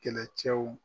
Kɛlɛcɛw